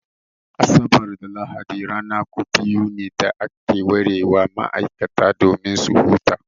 Asabar da Lahadi ranaku biyu ne da aka ware wa ma'aikata domin su huta.